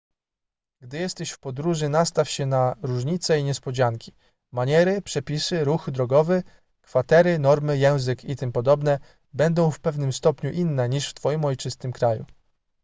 gdy jesteś w podróży nastaw się na różnice i niespodzianki maniery przepisy ruch drogowy kwatery normy język itp będą w pewnym stopniu inne niż w twoim ojczystym kraju